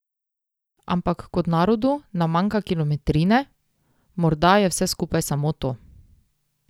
Ampak kot narodu nam manjka kilometrine, morda je vse skupaj samo to.